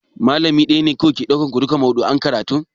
Malami ɗaya ne yake ɗaukan ku duka maudu'in karatun?